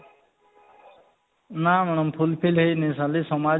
ନା madam full fill ହେଇନି ଖାଲି ସମାଜ